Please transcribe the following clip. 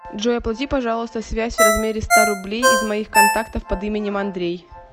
джой оплати пожалуйста связь в размере ста рублей из моих контактов под именем андрей